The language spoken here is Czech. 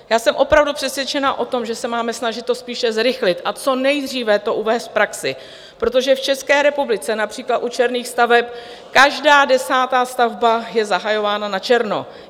Já jsem opravdu přesvědčena o tom, že se máme snažit to spíše zrychlit a co nejdříve to uvést v praxi, protože v České republice například u černých staveb každá desátá stavba je zahajována na černo.